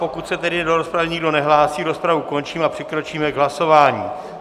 Pokud se tedy do rozpravy nikdo nehlásí, rozpravu končím a přikročíme k hlasování.